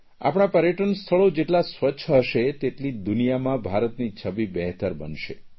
આપણાં પર્યટન સ્થળો જેટલાં સ્વચ્છ હશે તેટલી દુનિયામાં ભારતની છબી બહેતર બનશે